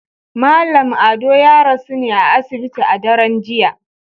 Mallam Ado ya rasu ne a asibiti a daren jiya